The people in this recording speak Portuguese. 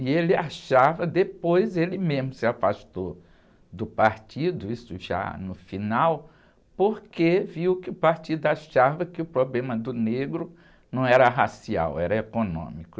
E ele achava, depois ele mesmo se afastou do partido, isso já no final, porque viu que o partido achava que o problema do negro não era racial, era econômico.